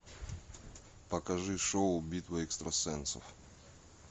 покажи шоу битва экстрасенсов